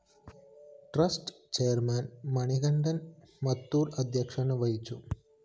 trust chairman Manikandan‍ Mathur‍ അധ്യക്ഷത വഹിച്ചു